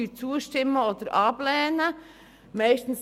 Wir stimmen dann zu oder lehnen ab.